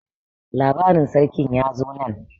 labarin sarkin ya zo nan?